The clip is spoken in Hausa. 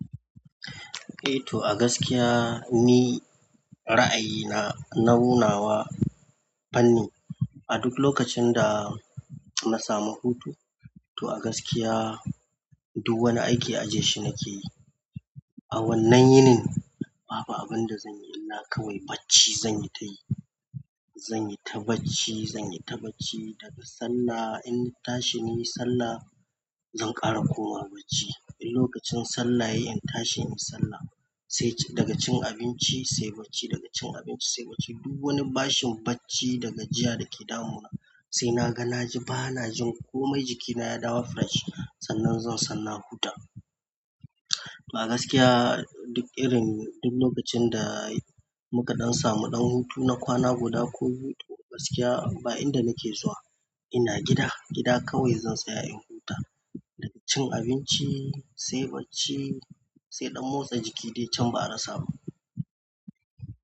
Eh to a gaskiya ni ra'ayina na nau na wa fanni a duk lokacin da na samu hutu. To a gaskiya duk wani aiki ajeshi nake yi. A wannan yinin babu abun da zan yi illah barci zan tayi zanyi ta barci, zanyi ta barci daga sallah in tashi in yi sallah zan ƙara komawa bacci. In lokacin sallah yayi in tashi in yi sallah sai daga cin abinci sai bacci, daga cin abinci sai bacci. Duk wani bashin barci daga jiya da ke damuna sai na ga na ji bana jin komai jikina ya dawo fresh. Sannan zan san na huta. A gaskiya duk irin duk lokacin da muka ɗan samu ɗan hutu na kwana guda ko biyu to a gaskiya ba in da nake zuwa ina gida, gida kawai zan tsaya in huta. Daga cin abinci sai barci sai ɗan motsa jiki baza a rasa ba.